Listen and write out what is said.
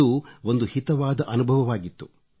ಅದು ಒಂದು ಹಿತವಾದ ಅನುಭವವಾಗಿತ್ತು